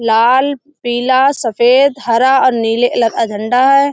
लाल पीला सफ़ेद हरा और नीले लर का झंडा है।